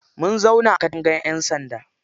Mun zauna a katangan ƴan sanda.